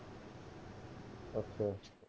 ਅੱਛਾ ਅੱਛਾ